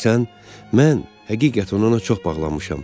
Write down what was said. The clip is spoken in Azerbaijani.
Bilirsən, mən həqiqətən ona çox bağlanmışam.